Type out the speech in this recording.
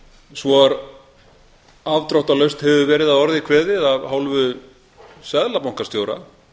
svo afdráttarlaust hefur verið að orði kveðið af hálfu seðlabankastjóra